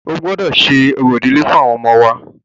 O gbọ́dọ ṣe orò ìdílé fún ọmọ wa!